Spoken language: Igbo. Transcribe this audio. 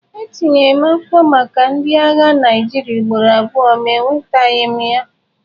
M tinyere akwụkwọ maka ndị agha Naịjirịa ugboro abụọ ma enwetaghị m ya.